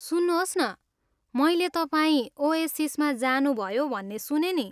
सुन्नुहोस् न, मैले तपाईँ ओएसिसमा जानुभयो भन्ने सुनेँ नि।